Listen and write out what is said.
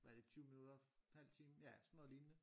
Hvad er det 20 minutter halv time ja sådan nogey lignende